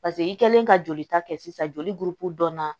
paseke i kɛlen ka joli ta kɛ sisan joli donna